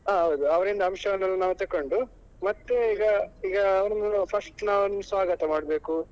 ಹ ಹೌದು ಅವ್ರಿಂದ ಅಂಶವನ್ನೆಲ್ಲ ನಾವು ತೆಕೊಂಡು ಮತ್ತೆ ಈಗ ಈಗ ಅವ್ರನ್ನು first ನಾವು ಸ್ವಾಗತ ಮಾಡ್ಬೇಕು.